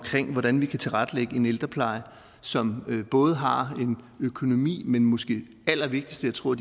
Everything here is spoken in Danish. hvordan vi kan tilrettelægge en ældrepleje som både har en økonomi men måske allervigtigst jeg tror